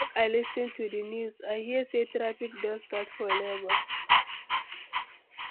Make I lis ten to di news, I hear say traffic don start for Lagos.